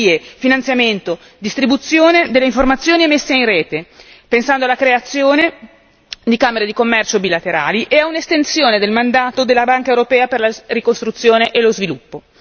Garanzie, finanziamento, distribuzione delle informazione e messa in rete, pensando alla creazione di camere di commercio bilaterali e ad un'estensione del mandato della Banca europea per la ricostruzione e lo sviluppo.